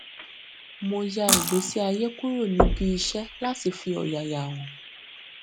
mo yà ìgbésíayé kúrò níbi iṣẹ láti fi ọyàyà hàn